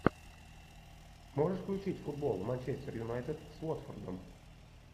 можешь включить футбол манчестер юнайтед с уотфордом